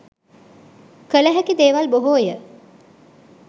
කල හැකි දේවල් බොහෝය.